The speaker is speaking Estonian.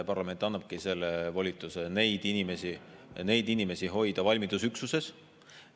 Parlament annabki volituse hoida neid inimesi valmidusüksuses.